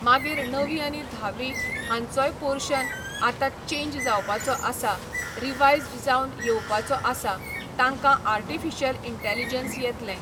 मागीर णवी आनी धावी हांचोय पोर्शन आतां चेंज जावपाचो आसा रिवायज्ड जावन येवपाचो आसा तांकां आर्टिफिशल इंटेलिजंस येतलें.